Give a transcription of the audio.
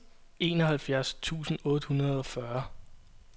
enoghalvtreds tusind otte hundrede og fyrre